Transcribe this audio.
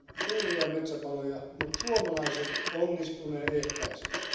suuria metsäpaloja, mutta suomalaiset onnistuivat ne ehkäisemään.